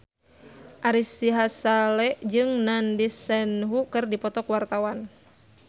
Ari Sihasale jeung Nandish Sandhu keur dipoto ku wartawan